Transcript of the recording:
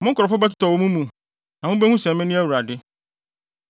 Mo nkurɔfo bɛtotɔ wɔ mo mu, na mubehu sɛ mene Awurade.